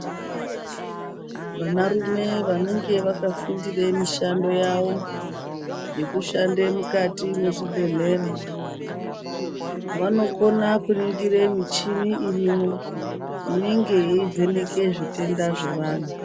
Vanarume vanenge vakafundire mishando yavo yekushande mukati mwezvibhedhlera, vanokona kuringire muchini irimwo inenge yeivheneke zvitenda zvevanhu.